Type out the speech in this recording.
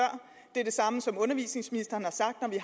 det er det samme som undervisningsministeren har sagt